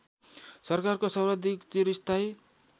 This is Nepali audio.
सरकारको सर्वाधिक चिरस्थायी